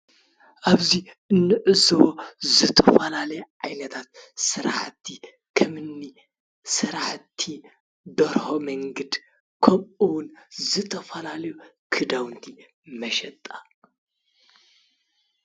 ኣብዚ እንዕዘቦ ዝተፈላለዩ ዓይነታት ስራሕቲ ከምእኒ ስራሕቲ ደርሆ መንግድ ክምኡ እውን ዝተፈላለዩ ክዳውንቲ መሸጣ ።